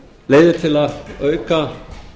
leiðir til að auka